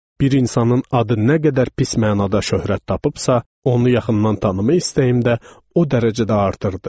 Bir insanın adı nə qədər pis mənada şöhrət tapıbsa, onu yaxından tanımaq istəyim də o dərəcədə artırdı.